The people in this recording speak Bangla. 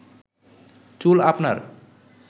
চুল আপনার